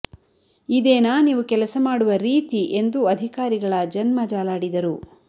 ಇದೇನಾ ನೀವು ಕೆಲಸ ಮಾಡುವ ರೀತಿ ಎಂದು ಅಧಿಕಾರಿಗಳ ಜನ್ಮ ಜಾಲಾಡಿದರು